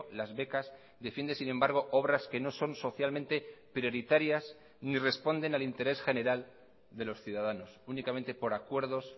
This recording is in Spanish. las becas defiende sin embargo obras que no son socialmente prioritarias ni responden al interés general de los ciudadanos únicamente por acuerdos